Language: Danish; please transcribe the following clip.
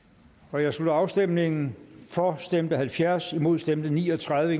jeg slutter afstemningen for stemte halvfjerds imod stemte ni og tredive